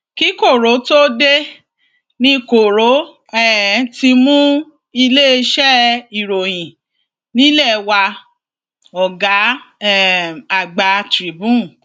kí koro tóo dé ní koro um ti mú iléeṣẹ ìròyìn nílẹ wá ọgá um àgbà tribune